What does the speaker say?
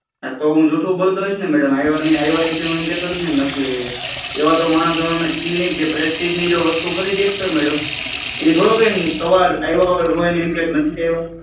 તો હુ જૂઠું બોલતો હશું ને મેડમ આવ્યા હશે ને હુ નથી આવ્યા એમ કેતો હશું ને નથી આવ્યા એવા તો માણસ અમે છે નાય જે પ્રેસ્ટીજની વસ્તુ ખરીદી શકતા હોય ને મેડમ